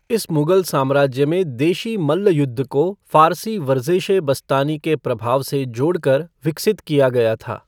इस मुग़ल साम्राज्य में देशी मल्ल युद्ध को फ़ारसी वरज़ेश ए बस्तानी के प्रभाव से जोड़कर विकसित किया गया था।